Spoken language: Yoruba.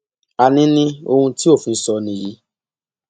àní ní ohun tí òfin sọ nìyí